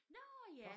Nårh ja